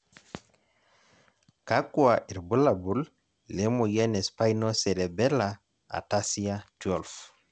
kakua irbulabol le moyian e Spinocerebellar ataxia 12?